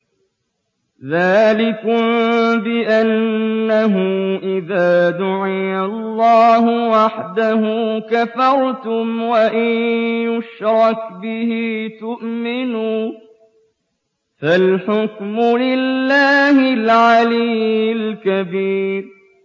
ذَٰلِكُم بِأَنَّهُ إِذَا دُعِيَ اللَّهُ وَحْدَهُ كَفَرْتُمْ ۖ وَإِن يُشْرَكْ بِهِ تُؤْمِنُوا ۚ فَالْحُكْمُ لِلَّهِ الْعَلِيِّ الْكَبِيرِ